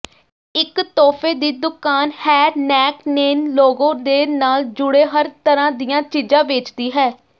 ਇਕ ਤੋਹਫ਼ੇ ਦੀ ਦੁਕਾਨ ਹੈਨੈਕਨੇਨ ਲੋਗੋ ਦੇ ਨਾਲ ਜੁੜੇ ਹਰ ਤਰ੍ਹਾਂ ਦੀਆਂ ਚੀਜ਼ਾਂ ਵੇਚਦੀ ਹੈ